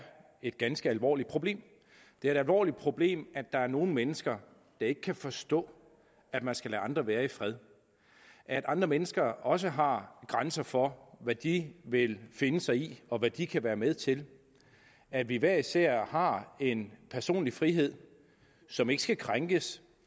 et ganske alvorligt problem det er et alvorligt problem at der er nogle mennesker der ikke kan forstå at man skal lade andre være i fred at andre mennesker også har grænser for hvad de vil finde sig i og hvad de kan være med til at vi hver især har en personlig frihed som ikke skal krænkes